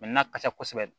na ka ca kosɛbɛ